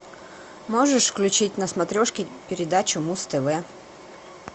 можешь включить на смотрешке передачу муз тв